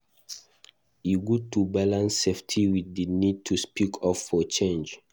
E good to balance safety wit di need to speak up for change.